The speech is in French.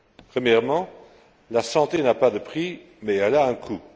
Premièrement, la santé n'a pas de prix mais elle a un coût.